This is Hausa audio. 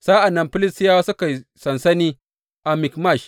Sa’an nan Filistiyawa suka yi sansani a Mikmash.